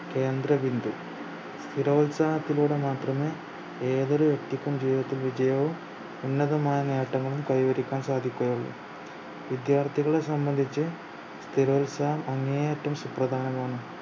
കേന്ദ്രബിന്ദു സ്ഥിരോത്സാഹത്തിലൂടെ മാത്രമേ ഏതൊരു വ്യക്തിക്കും ജീവിതത്തിൽ വിജയവും ഉന്നതമായ നേട്ടങ്ങളും കൈവരിക്കാൻ സാധിക്കുകയുള്ളു വിദ്യാർത്ഥികളെ സംബന്ധിച്ചു സ്ഥിരോത്സാഹം അങ്ങേയറ്റം സുപ്രധാനമാണ്